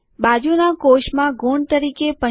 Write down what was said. બાજુનાં કોષમાં ગુણ તરીકે ૭૫ લખીએ